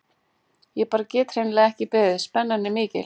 Ég bara get hreinlega ekki beðið, spennan er mikil.